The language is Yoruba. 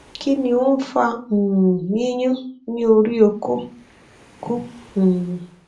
ki ni o n fa um yiyun ni ori oko oko um